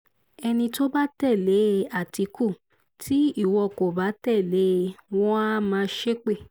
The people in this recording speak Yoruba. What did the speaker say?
ẹni tó bá tẹ̀lé àtìkù tí ìwọ kò bá tẹ̀lé e wọ́n àá máa ṣépè